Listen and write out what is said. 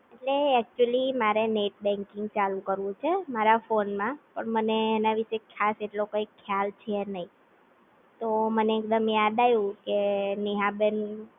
અરે Actually મારે Net Banking ચાલુ કરવું છે મારા ફોને માં પણ મને અને વિષે ખાસ એટલો કઈ ખ્યાલ છે નઈ, તો મને યાદ આવ્યું કે નેહાબેન